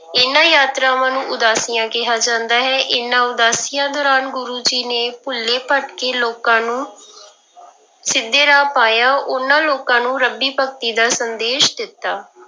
ਇਹਨਾਂ ਯਾਤਰਾਵਾਂ ਨੂੰ ਉਦਾਸੀਆਂ ਕਿਹਾ ਜਾਂਦਾ ਹੈ, ਇਹਨਾਂ ਉਦਾਸੀਆਂ ਦੌਰਾਨ ਗੁਰੂ ਜੀ ਨੇ ਭੁੱਲੇ ਭਟਕੇ ਲੋਕਾਂ ਨੂੰ ਸਿੱਧੇ ਰਾਹ ਪਾਇਆ, ਉਹਨਾਂ ਲੋਕਾਂ ਨੂੰ ਰੱਬੀ ਭਗਤੀ ਦਾ ਸੰਦੇਸ਼ ਦਿੱਤਾ।